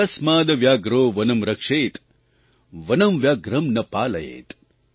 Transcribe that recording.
તસ્માદ્ વ્યાધ્રો વનમ્ રક્ષેત્ વનં વ્યાઘ્રં ન પાલયેત્